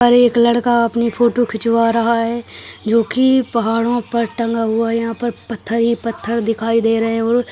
और एक लड़का अपनी फोटो खिंचवा रहा है जो की पहाड़ों पर टंगा हुआ है। यहाँ पर पत्थर ही पत्थर दिखाई दे रहे हैं और --